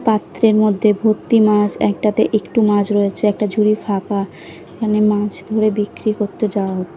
পাত্রের মধ্যে ভত্তি মাছ একটাতে একটু মাছ রয়েছে একটা ঝুঁড়ি ফাঁকা এখানে মাছ ধরে বিক্রি করতে যাওয়া হচ্ছে।